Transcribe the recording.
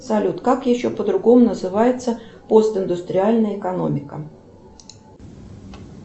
салют как еще по другому называется постиндустриальная экономика